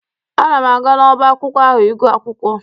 Ana m aga n'ọba akwụkwọ ahụ ịgụ akwụkwọ.